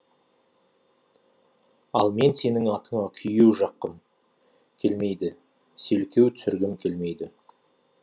ал мен сенің атыңа күйе жаққым келмейді селкеу түсіргім келмейді